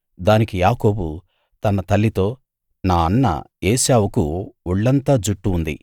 దానికి యాకోబు తన తల్లితో నా అన్న ఏశావుకు ఒళ్ళంతా జుట్టు ఉంది నేను నున్నగా ఉంటాను